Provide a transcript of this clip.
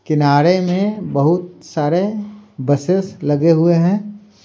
किनारे में बहुत सारे बसेस लगे हुए हैं।